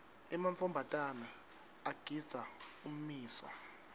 emantfombatana agindza ummiso